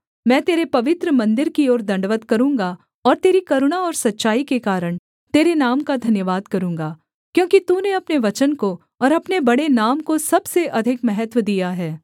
मैं तेरे पवित्र मन्दिर की ओर दण्डवत् करूँगा और तेरी करुणा और सच्चाई के कारण तेरे नाम का धन्यवाद करूँगा क्योंकि तूने अपने वचन को और अपने बड़े नाम को सबसे अधिक महत्त्व दिया है